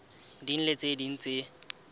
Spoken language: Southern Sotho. ding le tse ding tse